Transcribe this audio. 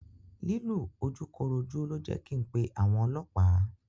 Lílù ojúkorojú ló jẹ́ kin pé àwọn ọlọ́pàá.